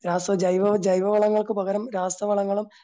രാസ ജൈവ ജൈവവളങ്ങൾക്കു പകരം രാസവളങ്ങളും